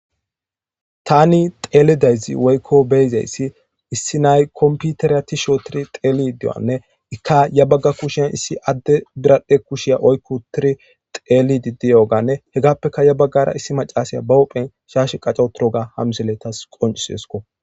Tani xelidayssi woykko bei'zayssi issi nay kompiteriya tishshi othidi xelidi diyogane ikka ya baga kushiyan issi adde biradhe kushaya oyqiutire xelidi diyogane hegapekka issi maccasiya ba huphen shashe qacawothoga ha missile tawu qoncisses.